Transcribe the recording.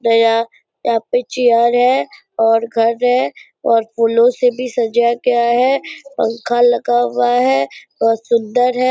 नया यहाँ पे चेयर है और घर है और फूलों से भी सजाया गया है पंखा लगा हुआ है बहुत सुंदर है।